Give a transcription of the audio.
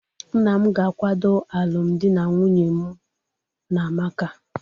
Nna m ga-akwado alụmdi na nwunye mu na amaka